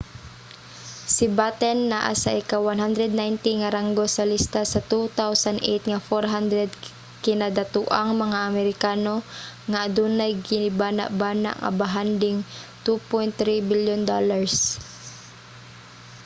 si batten naa sa ika-190 nga ranggo sa lista sa 2008 nga 400 kinadatoang mga amerikano nga adunay gibanabana nga bahanding $2.3 bilyon